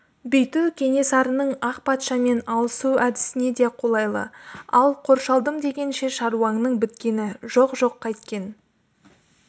бүйту кенесарының ақ патшамен алысу әдісіне де қолайлы ал қоршалдым дегенше шаруаңның біткені жоқ жоқ қайткен